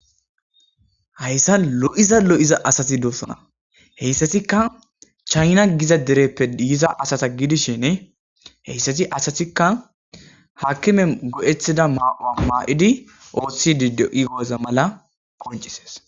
hayssan lo7iza lo7iza asati doosona heyssatikka chayna giza dereppe yiza asata giidishenne heyssati asatikka haakkime go7ethida maa7oa maa7idi ooththidi deigoza mala qoncises